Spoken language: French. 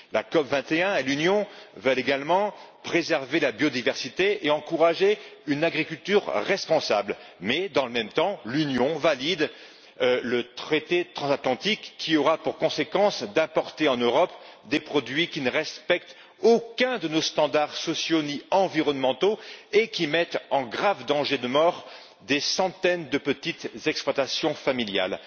La COP 21 et l'Union veulent également préserver la biodiversité et encourager une agriculture responsable, mais en même temps l'Union valide le traité transatlantique, qui aura pour conséquence d'importer en Europe des produits qui ne respectent aucun de nos standards sociaux, ni environnementaux, et qui mettent en grave danger de mort des centaines de petites exploitations familiales.